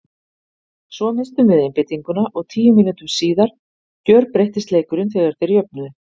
Svo misstum við einbeitinguna og tíu mínútum síðar gjörbreyttist leikurinn þegar þeir jöfnuðu.